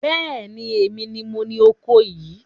Bẹ́ẹ̀ni, èmi ni moní oko yìí